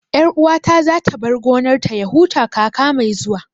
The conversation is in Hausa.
Ƴar uwata za ta bar gonar ta ya huta kaka mai zuwa